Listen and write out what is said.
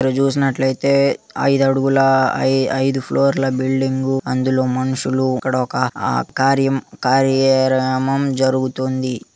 ఇక్కడ చూసినట్లయితే ఐదు అడుగుల ఐ_ఐదు ఫ్లోర్ బిల్డింగ్ అందులో మనుషులు ఇక్కడ ఒక ఆకార్యం జరుగుతుంది.